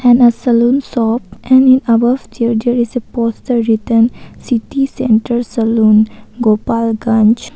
And a salon shop and in above there is a poster written city center saloon gopalganj.